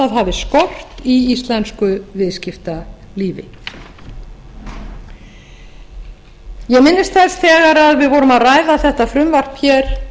hafi skort í íslensku viðskiptalífi ég minnist þess þegar við vorum að ræða þetta frumvarp hér